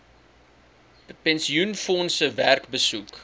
pensioenfondse werk besoek